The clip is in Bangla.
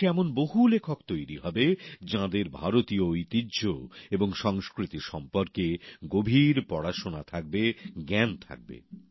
দেশে এমন বহু লেখক তৈরি হবে যাঁদের ভারতীয় ঐতিহ্য এবং সংস্কৃতি সম্পর্কে গভীর পড়াশোনা থাকবে জ্ঞান থাকবে